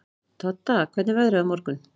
Todda, hvernig er veðrið á morgun?